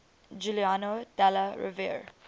giuliano della rovere